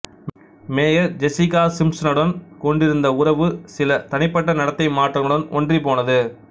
mayor Jessica சிம்ப்ஸனுடன் கொண்டிருந்த உறவு சில தனிப்பட்ட நடத்தை மாற்றங்களுடன் ஒன்றிப்போனது